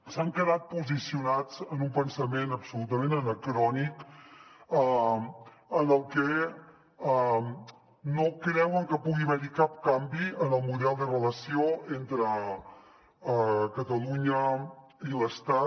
s’han quedat posicionats en un pensament absolutament anacrònic en el que no creuen que pugui haver hi cap canvi en el model de relació entre catalunya i l’estat